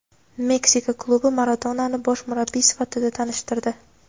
Meksika klubi Maradonani bosh murabbiy sifatida tanishtirdi.